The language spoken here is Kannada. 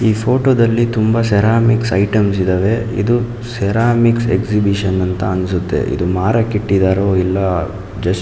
ಈ ಫೋಟೋ ದಲ್ಲಿ ತುಂಬಾ ಸೆರಾಮಿಕ್ಸ್ ಐಟಮ್ಸ್ ಇದಾವೆ ಇದು ಸೆರಾಮಿಕ್ಸ್ ಎಕ್ಸಿಬಿಷನ್ ಅಂತ ಅನ್ನಸುತ್ತೆ ಇದು ಮಾರಕ್ಕೆ ಇಟ್ಟಿದರೋ ಅಲ್ಲಾ ಜಸ್ಟ್ --